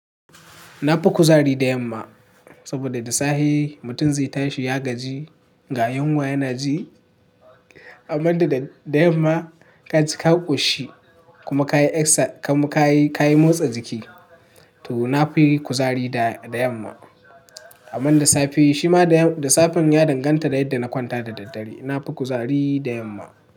Na fi kuzari da yamma saboda da safe mutum zai tashi ya gaji ga yunwa yana ji, amma da da yamma ka ci ka ƙoshi kuma ka yi eksa kuma ka yi motsa jiki to na fi kuzari da yamma. Amma da safe shima da safe ya danganta da yadda na kwanta da daddare. Na fi kuzari da yamma.